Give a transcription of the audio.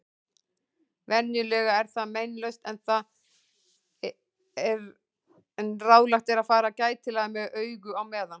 Venjulega er það meinlaust en ráðlegt er að fara gætilega með augu á meðan.